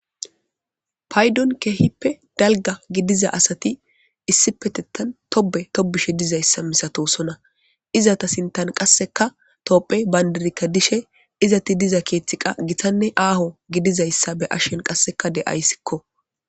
Paydon keehippe dalga gidiza asati issi petettan tobe tobishe dizayssa misato sona iza ta sintan qasseka topphe bayndirikka dishe izati diza keeththiqa githanne aaho gidizayssa be ashshen qasseka de'ayssikko.